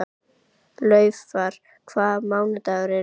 Laufar, hvaða mánaðardagur er í dag?